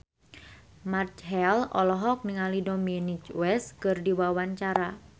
Marchell olohok ningali Dominic West keur diwawancara